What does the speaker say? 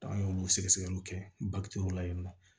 an y'olu sɛgɛ sɛgɛliw kɛ la yen nɔ